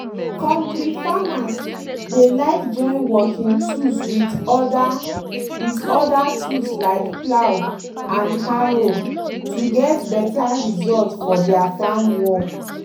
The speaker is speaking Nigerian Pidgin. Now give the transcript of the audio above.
kontir farmers dey like join working tools with other with other tools like plough and harrow to get better result for deir farm work.